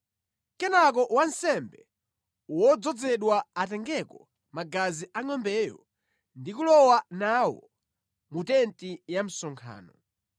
Kenaka wansembe wodzozedwa atengeko magazi a ngʼombeyo ndi kulowa nawo mu tenti ya msonkhano.